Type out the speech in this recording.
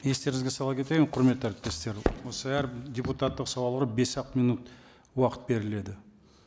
естеріңізге сала кетейін құрметті әріптестер осы әр депутаттық сауалға бес ақ минут уақыт беріледі